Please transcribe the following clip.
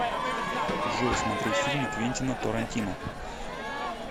джой смотреть фильмы квентина торантино